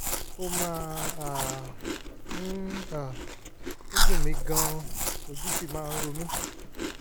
ó máa um ń um ń dùn mí gan-an ojú sì máa ń ro mí